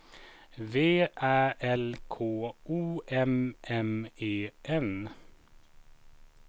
V Ä L K O M M E N